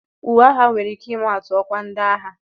Uwe agha nwere ike ịma atu ọkwa ndị agha